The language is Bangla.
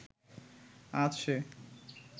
আজ সে